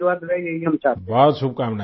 आपका आशीर्वाद रहे यही हम चाहते हैं